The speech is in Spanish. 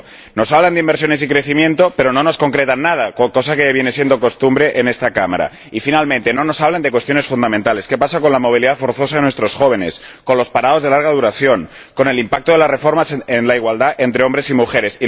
Nos hablan de inversiones y crecimiento, pero no nos concretan nada, cosa que viene siendo costumbre en esta Cámara y, finalmente, no nos hablan de cuestiones fundamentales ¿qué pasa con la movilidad forzosa de nuestros jóvenes, con los parados de larga duración, con el impacto de las reformas en la igualdad entre hombres y mujeres?